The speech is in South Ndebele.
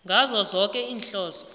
ngazo zoke iinhloso